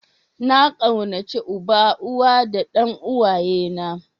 Na kaunace una, uwa da dan uwaye na.